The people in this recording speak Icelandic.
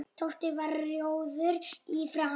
Tóti varð rjóður í framan.